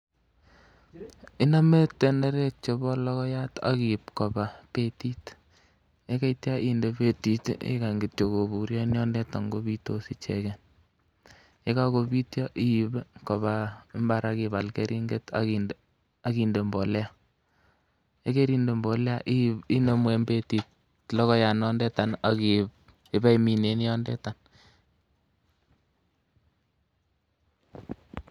Iname tenderek chebo logoiyat akiib Koba betit yekaitya inde betit akikany korurio en yoton kobitos icheken yekakobituo iib Koba imbar akibal keringet akinde mbolea ayikaimde mbolea logoiyat inondetan iwe imin en yotetan.